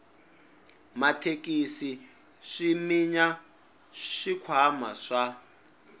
mathekisi swi minya swikhwama swa